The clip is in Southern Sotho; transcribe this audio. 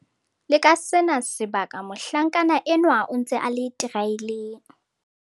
Le ka sena sebaka mohlankana enwa o ntse a le teraeleng.